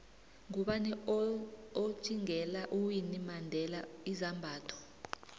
ngubani othvngela uwinnie mandela izambatho